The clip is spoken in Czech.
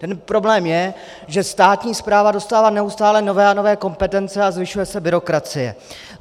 Ten problém je, že státní správa dostává neustále nové a nové kompetence a zvyšuje se byrokracie.